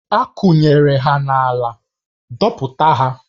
A kwụnyere ha n'ala, dọpụta ha!